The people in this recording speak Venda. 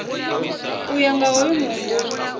u ya nga hoyu muhumbulo